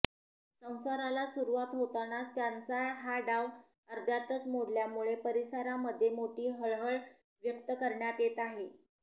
संसाराला सुरुवात होतानाच त्यांचा हा डाव अर्ध्यातच मोडल्यामुळे परिसरांमध्ये मोठी हळहळ व्यक्त करण्यात येत आहे